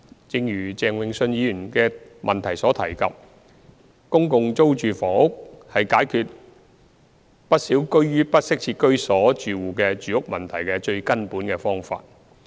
正如鄭泳舜議員的質詢提及，公共租住房屋是解決不少居於不適切居所住戶的住屋問題的最根本方法。